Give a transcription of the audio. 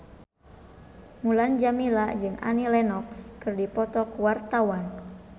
Mulan Jameela jeung Annie Lenox keur dipoto ku wartawan